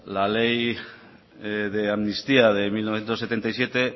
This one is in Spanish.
la ley de amnistía de mil novecientos setenta y siete